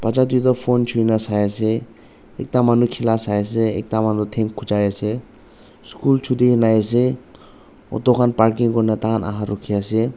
bacha duita phone chuina saiase ekta manu khela sai ase ekta manu thang khujai ase school chuti hoina ahiase auto khan parking kuri na tai khan aha rukhi ase.